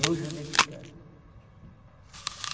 Nojo de cigarro.